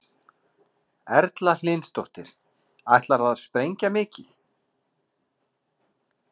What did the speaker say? Erla Hlynsdóttir: Ætlarðu að sprengja mikið?